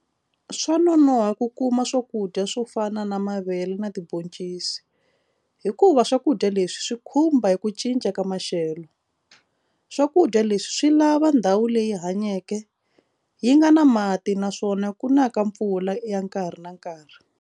Swa nonoha ku kuma swakudya swo fana na mavele na tibhoncisi hikuva swakudya leswi swi khumba hi ku cinca ka maxelo swakudya leswi swi lava ndhawu leyi hanyeke yi nga na mati naswona ku na ka mpfula ya nkarhi na nkarhi.